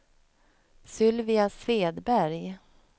Sylvia Svedberg